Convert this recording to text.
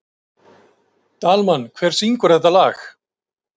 Dalmann, hver syngur þetta lag?